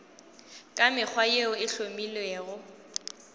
ka mekgwa yeo e hlomilwego